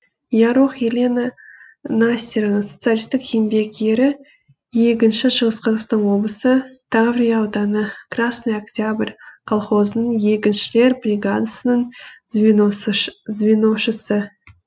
ярох елена настеровна социалистік еңбек ері егінші шығыс қазақстан облысы таврия ауданы красный октябрь колхозының егіншілер бригадасының звеношысы